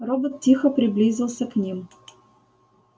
робот тихо приблизился к ним